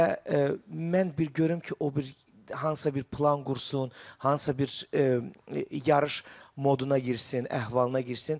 Və mən bir görüm ki, o bir hansısa bir plan qursun, hansısa bir yarış moduna girsin, əhvalına girsin.